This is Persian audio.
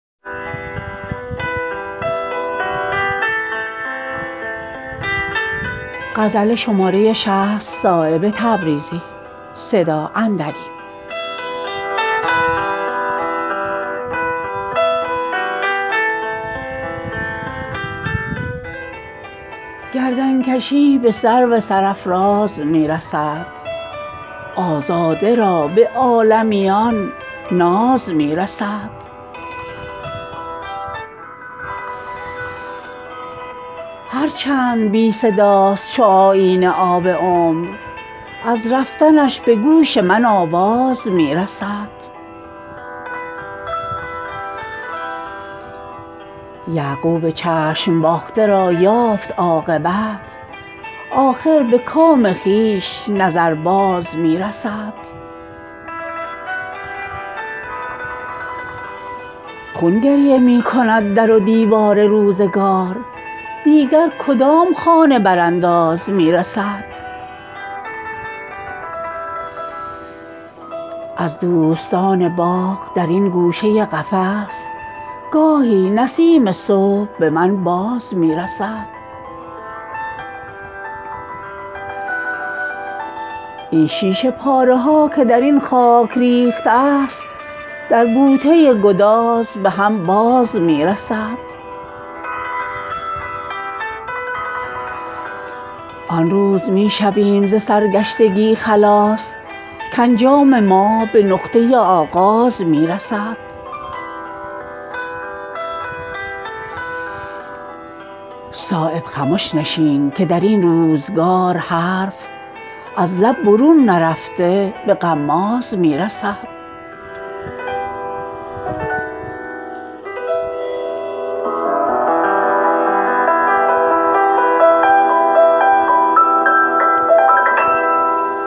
گردنکشی به سرو سرافراز می رسد آزاده را به عالمیان ناز می رسد هر چند بی صداست چو آیینه آب عمر از رفتنش به گوش من آواز می رسد همت بلند دار کز این خاکدان پست شبنم به آسمان به یک انداز می رسد جویای نامه های سیاه است ابر فیض آیینه گرفته به پردازمی رسد یعقوب چشم باخته را یافت عاقبت آخر به کام خویش نظر بازمی رسد این شیشه پاره که درین خاک ریخته است در بوته گداز به هم باز می رسد آن روز می شویم ز سرگشتگی خلاص کانجام ما به نقطه آغاز می رسد در سینه می زند نفس خویش را گره هرکس که در حقیقت این راز می رسد از دوستان باغ درین گوشه قفس گاهی نسیم صبح به من باز می رسد خون گریه می کند در ودیوار روزگار دیگر کدام خانه برانداز می رسد صایب خمش نشین که درین روزگار حرف از لب برون نرفته به غماز می رسد